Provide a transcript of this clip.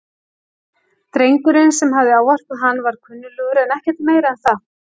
Drengurinn sem hafði ávarpað hann var kunnuglegur en ekkert meira en það.